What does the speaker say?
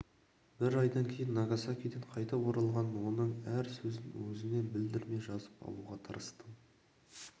бір айдан кейін нагасакиден қайтып оралған оның әр сөзін өзіне білдірмей жазып алуға тырыстым